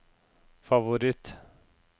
favoritt